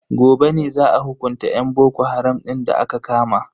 Gobe ne za a hukunta yan boko haram din da aka kama.